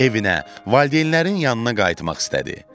Evinə, valideynlərinin yanına qayıtmaq istədi.